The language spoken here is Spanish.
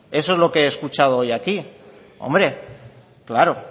eso es lo que he escuchado hoy aquí hombre claro